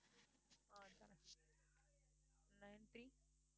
ஆஹ் தரேன் nine three